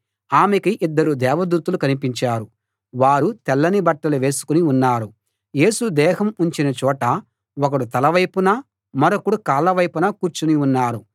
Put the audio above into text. ఆమెకు ఇద్దరు దేవదూతలు కనిపించారు వారు తెల్లని బట్టలు వేసుకుని ఉన్నారు యేసు దేహం ఉంచిన చోట ఒకడు తల వైపునా మరొకడు కాళ్ళ వైపునా కూర్చుని ఉన్నారు